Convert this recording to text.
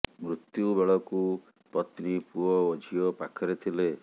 ମୃତ୍ୟୁ ବେଳକୁ ପତ୍ନୀ ପୁଅ ଓ ଝିଅ ପାଖରେ ଥିଲେ